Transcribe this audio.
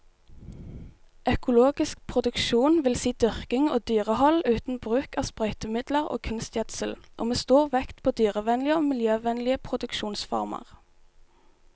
Økologisk produksjon vil si dyrking og dyrehold uten bruk av sprøytemidler og kunstgjødsel, og med stor vekt på dyrevennlige og miljøvennlige produksjonsformer.